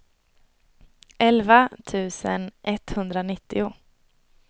elva tusen etthundranittio